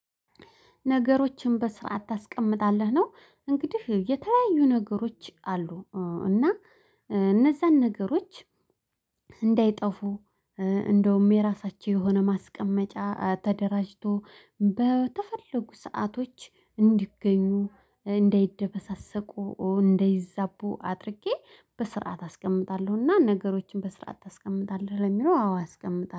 ነገሮችን በስርዓት ታስቀምጣለህ ነው። እንግዲህ የተለያዩ ነገሮች አሉ። እና እነዛን ነገሮች እንዳይጠፉ እንደውም የራሳቸው የሆነ ማስቀመጫ ተደራጅቶ በተፈለጉ ሰአቶች እንዲገኙ እንዳይደበሳሰቁ እንደይዛቡ አድርጌ በስርዓት አስቀምጣለሁ እና ነገሮችን በስርዓት ታስቀምጣለህ? ለሚለው አዎ አስቀምጣለሁ